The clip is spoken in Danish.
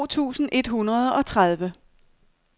to tusind et hundrede og tredive